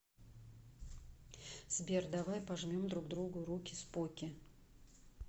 сбер давай пожмем друг други руки споки